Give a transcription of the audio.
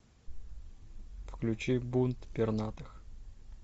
включи бунт пернатых